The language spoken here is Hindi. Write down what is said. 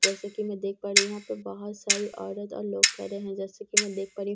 जैसे की मैं देख पा रही हूँ यहाँ पे बहुत सारे औरत और लोग खड़े हैं जैसे की मैं देख पा रही हूँ यहाँ --